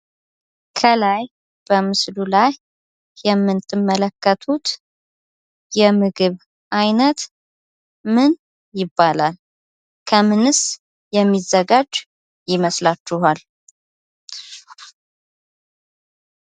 ከላይ በምስሉ ላይ የምትመለከቱት የምግብ አይነት ምን ይባላል? ከምንስ የሚዘጋጅ ይመስላችኋል?